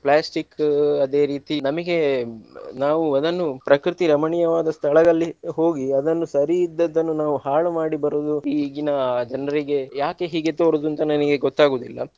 Plastic ಅದೇ ರೀತಿ ನಮಿಗೆ ನಾವು ಅದನ್ನು ಪ್ರಕೃತಿ ರಮಣೀಯವಾದ ಸ್ಥಳದಲ್ಲಿ ಹೋಗಿ ಅದನ್ನು ಸರಿ ಇದ್ದದ್ದನ್ನು ನಾವು ಹಾಳು ಮಾಡಿ ಬರುದು ಈಗಿನ ಜನರಿಗೆ ಯಾಕೆ ಹೀಗೆ ತೋರುದು ಅಂತ ನನಗೆ ಗೊತ್ತಾಗುವುದಿಲ್ಲ.